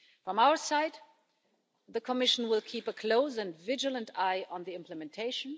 From our side, the Commission will keep a close and vigilant eye on the implementation.